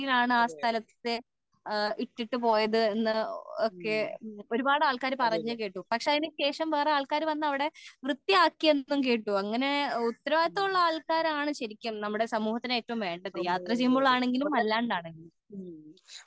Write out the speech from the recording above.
ആ സ്ഥലത്തെ ഇട്ടിട്ടുപോയത് എന്ന് ഒക്കെ ഒരുപാട് ആൾക്കാർ പറഞ്ഞു കേട്ടു പക്ഷേ അതിന് ശേഷം വേറെ ആൾക്കാർ വന്നു വൃത്തിയാക്കി എന്നും കേട്ടു ഉത്തരവിധിയാം ഉള്ള ആൾക്കാർ ആണ് ശരിക്കും നമ്മുടെ സമൂഹത്തിൽ ഏറ്റവും വേണ്ടത് യാത്ര ചെയ്യുമ്പോൾ ആണെങ്കിലും അല്ലാണ്ട് ആണെങ്കിലും